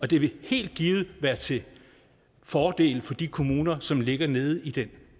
det vil helt givet være til fordel for de kommuner som ligger nede i den